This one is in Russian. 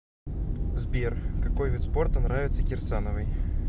сбер какой вид спорта нравится кирсановой